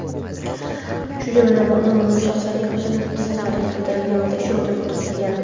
shu jumladan noma’lum shaxslarning jasadlari keltirilgan va tekshiruvdan o‘tkazilgan.